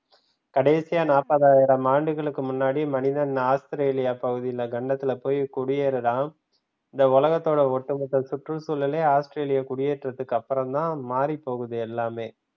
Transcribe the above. கடைசியா நாப்பதாயிரம் ஆண்டுகளுக்கு முன்னாடி மனிதன் ஆஸ்திரேலியா பகுதியில கண்டத்துல போயி குடியேறுறான். இந்த உலகத்தோட ஒட்டு மொத்த சுற்றுச்சூழலலே ஆஸ்திரேலியா குடியேற்றத்தக்கு அப்புறம் தான் மாறிப்போகுது எல்லாமே.